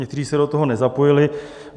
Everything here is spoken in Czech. Někteří se do toho nezapojili.